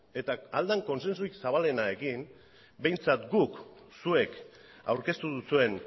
eta ahal den kontsensurik zabalenarekin behintzat guk zuek aurkeztu duzuen